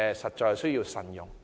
實在有需要慎用。